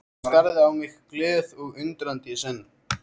Hún starði á mig glöð og undrandi í senn.